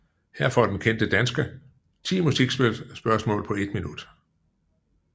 Her får den kendte danske 10 musikspørgsmål på 1 minut